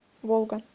волга